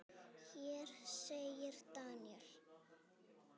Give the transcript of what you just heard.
Hér segir Daniel